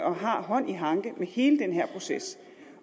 og har hånd i hanke med hele den her proces